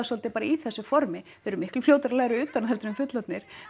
svolítið bara í þessu formi þau eru miklu fljótari að læra utan að heldur en fullorðnir